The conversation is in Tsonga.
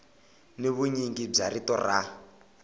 ni vunyingi bya rito ra